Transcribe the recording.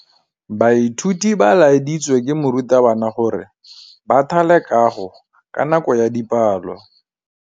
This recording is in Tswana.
Baithuti ba laeditswe ke morutabana gore ba thale kagô ka nako ya dipalô.